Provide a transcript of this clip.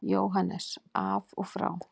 JÓHANNES: Af og frá!